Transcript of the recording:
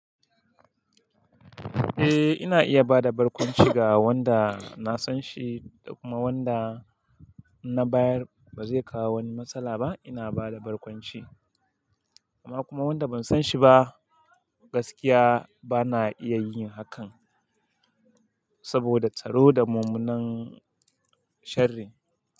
Eh ina iya bada barkwanci ga wanda na san shi da kuma wanda na bayar bazai kawo wani matsala ba ina bada barkwanci. Amma kuma wanda ban san shi ba gaskiya bana iya yin hakan saboda tsaro da mummunan sharri.